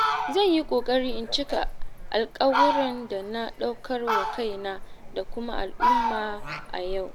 Zan yi ƙoƙari in cika alƙawuran da na ɗaukar wa kaina da kuma al'umma a yau.